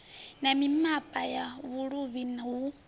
na mimapa ya vhuluvhi hu